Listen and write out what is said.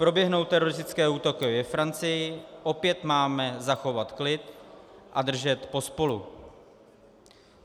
Proběhnou teroristické útoky ve Francii, opět máme zachovat klid a držet pospolu.